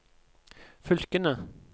fylkene